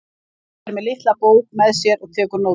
Guffi er með litla bók með sér og tekur nótur.